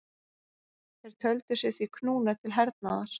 Þeir töldu sig því knúna til hernaðar.